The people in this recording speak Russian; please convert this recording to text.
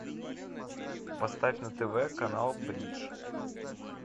поставь на тв канал бридж